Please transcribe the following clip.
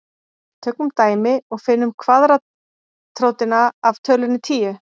Tökum dæmi og finnum kvaðratrótina af tölunni tíu.